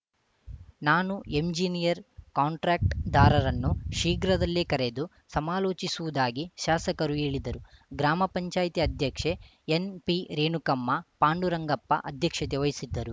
ನಾನು engineer contract ದಾರರನ್ನು ಶೀಘ್ರದಲ್ಲೇ ಕರೆದು ಸಮಾಲೋಚಿಸುವುದಾಗಿ ಶಾಸಕರು ಹೇಳಿದರು ಗ್ರಾಮ ಪಂಚಾಯತಿ ಅಧ್ಯಕ್ಷೆ ಎನ್‌ಪಿ ರೇಣುಕಮ್ಮ ಪಾಂಡುರಂಗಪ್ಪ ಅಧ್ಯಕ್ಷತೆ ವಹಿಸಿದ್ದರು